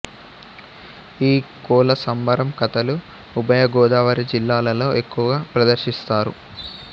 ఈ కోల సంబరం కథలు ఉభయ గోదావరి జిల్లాలలో ఎక్కువగా ప్రదర్శిస్తారు